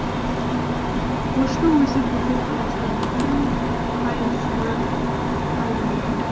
осының өзі бүкіл қазақстандықтың қайғысына айналды